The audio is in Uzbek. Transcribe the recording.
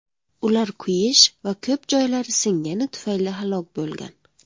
Ular kuyish va ko‘p joylari singani tufayli halok bo‘lgan.